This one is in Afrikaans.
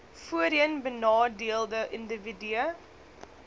voorheen benadeelde indiwidue